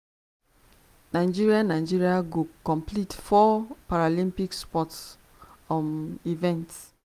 nigeria nigeria go compete for four paralympic sports um events.